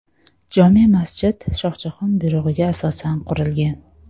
Jome masjid Shohjahon buyrug‘iga asosan qurilgan.